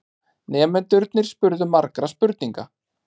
Nemendurnir spurðu margra spurninga.